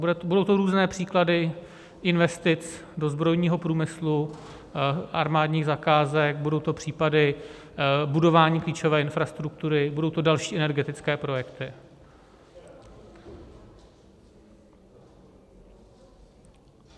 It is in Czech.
Budou to různé příklady investic do zbrojního průmyslu, armádních zakázek, budou to případy budování klíčové infrastruktury, budou to další energetické projekty.